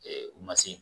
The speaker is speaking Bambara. u ma se